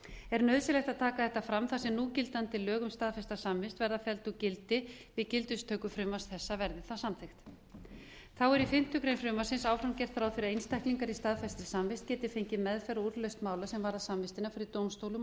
er nauðsynlegt að taka þetta fram þar sem núgildandi lög um staðfesta samvist verða felld úr gildi við gildistöku frumvarps þessa verði það samþykkt þá er í fimmtu grein frumvarpsins áfram gert ráð fyrir að einstaklinga í staðfestri samvist geti fengið meðferð á úrlausn mála sem varða samvistina fyrir dómstólum